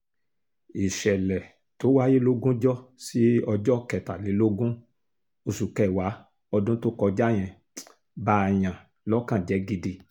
ìṣẹ̀lẹ̀ tó wáyé lógúnjọ́ sí ọjọ́ kẹtàlélógún oṣù kẹwàá ọdún tó kọjá yẹn bààyàn lọ́kàn jẹ́ gidi